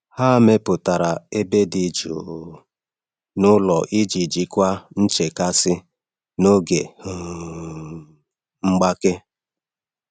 Ha mepụtara ebe dị jụụ n’ụlọ iji jikwaa nchekasị n’oge um mgbake.